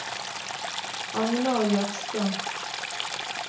Agnar Jørstad